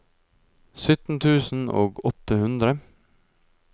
sytten tusen og åtte hundre